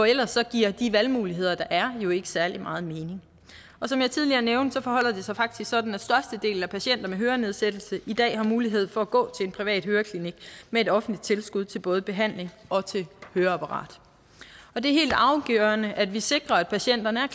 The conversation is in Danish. ellers giver de valgmuligheder der er jo ikke særlig meget mening som jeg tidligere nævnte forholder det sig faktisk sådan at størstedelen af patienter med hørenedsættelse i dag har mulighed for at gå til en privat høreklinik med et offentligt tilskud til både behandling og høreapparat det er helt afgørende at vi sikrer at patienterne er